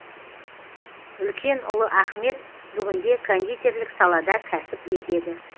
үлкен ұлы ахмет бүгінде кондитерлік салада кәсіп етеді